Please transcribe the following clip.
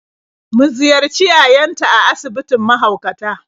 Mu ziyarci yayanta a asibitin mahaukata.